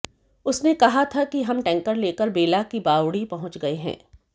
उसने कहा था कि हम टैंकर लेकर बेला की बावड़ी पहुंच गए हैं